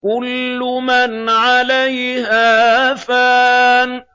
كُلُّ مَنْ عَلَيْهَا فَانٍ